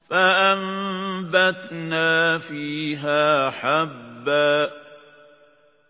فَأَنبَتْنَا فِيهَا حَبًّا